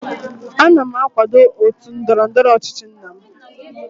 ana m akwado otu ndọrọ ndọrọ ọchịchị nna m